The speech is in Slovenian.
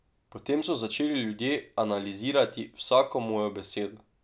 Potem so začeli ljudje analizirati vsako mojo besedo.